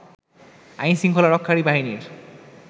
আইন শৃঙ্খলা রক্ষাকারী বাহিনীর